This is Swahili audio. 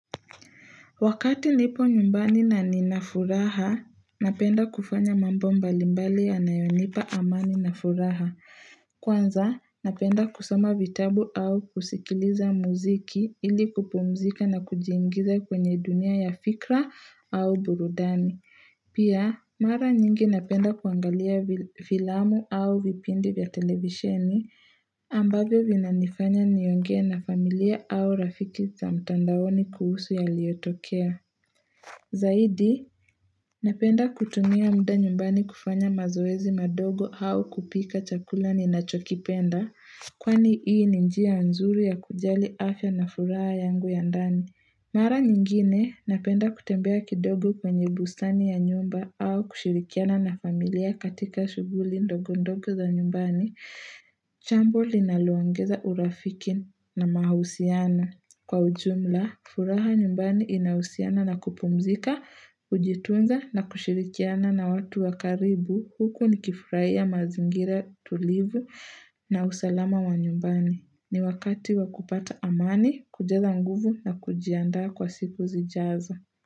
Wakati nipo nyumbani na ninafuraha, napenda kufanya mambo mbalimbali yanayonipa amani na furaha. Kwanza, napenda kusoma vitabu au kusikiliza muziki ili kupumzika na kujiingiza kwenye dunia ya fikra au burudani. Pia, mara nyingi napenda kuangalia filamu au vipindi vya televisheni ambavyo vinanifanya niongee na familia au rafiki za mtandaoni kuhusu yaliyotokea. Zaidi, napenda kutumia muda nyumbani kufanya mazoezi madogo au kupika chakula ninachokipenda kwani hii ni njia nzuri ya kujali afya na furaha yangu ya ndani. Mara nyingine napenda kutembea kidogo kwenye busani ya nyumba au kushirikiana na familia katika shughuli ndogo ndogo za nyumbani. Jambo linaloongeza urafiki na mahusiano. Kwa ujumla, furaha nyumbani inahusiana na kupumzika, kujitunza na kushirikiana na watu wa karibu huku nikifurahia mazingira tulivu na usalama wa nyumbani. Ni wakati wa kupata amani, kujaza nguvu na kujiandaa kwa siku zijazo.